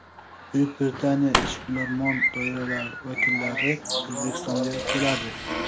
Buyuk Britaniya ishbilarmon doiralari vakillari O‘zbekistonga keladi.